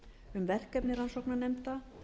um verkefni rannsóknarnefnda